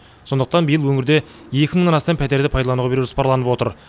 сондықтан биыл өңірде екі мыңнан астам пәтерді пайдалануға беру жоспарланып отыр